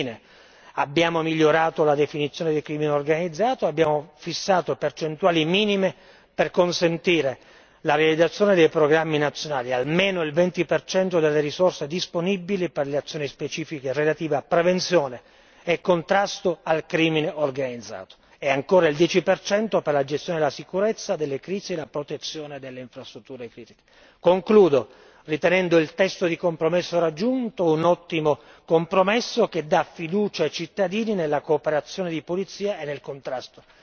E infine abbiamo migliorato la definizione del crimine organizzato, abbiamo fissato percentuali minime per consentire la realizzazione dei programmi nazionali, almeno il 20 delle risorse disponibili per le azioni specifiche relative a prevenzione e contrasto al crimine organizzato, e ancora il 10 per la gestione della sicurezza, delle crisi e la protezione delle infrastrutture critiche. Concludo, ritenendo il testo di compromesso raggiunto un ottimo compromesso che dà fiducia ai cittadini nella cooperazione di polizia e nel contrasto